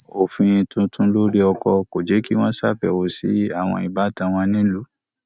òfin tuntun lori ọkọ kò jé kí wọn ṣàbẹwò sí àwọn ìbátan wọn nílùú